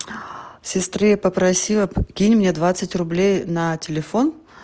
сестре попросила кинь мне двадцать рублей на телефон